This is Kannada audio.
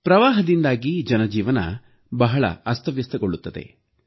ಪ್ರವಾಹದಿಂದಾಗಿ ಜನಜೀವನ ಬಹಳ ಅಸ್ತವ್ಯಸ್ತಗೊಳ್ಳುತ್ತದೆ